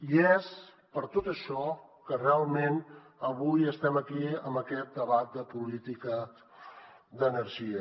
i és per tot això que realment avui estem aquí en aquest debat de política d’energia